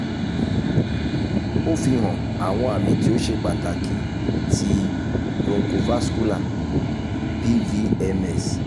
o fihan awọn ami ti o ṣe pataki ti bronchovascular bvms